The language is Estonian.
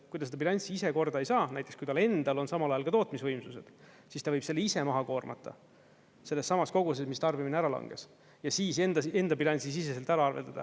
Kui ta seda bilanssi ise korda ei saa, näiteks kui tal endal on samal ajal ka tootmisvõimsused, siis ta võib selle ise maha koormata sellessamas koguses, mis tarbimine ära langes, ja siis enda enda bilansisiseselt ära arveldada.